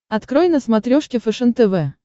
открой на смотрешке фэшен тв